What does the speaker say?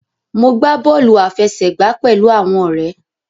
Mo gbà bóòlù àfẹsẹ̀gbá pẹlú àwọn òré.